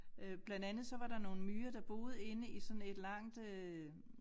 Øh blandt andet så var der nogle myrer der boede inde i sådan et langt øh